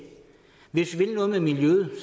hvis man vil noget med miljøet